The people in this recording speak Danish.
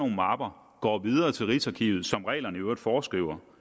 mapper går videre til rigsarkivet som reglerne i øvrigt foreskriver